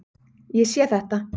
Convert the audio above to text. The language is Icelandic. Ég sé þetta svona.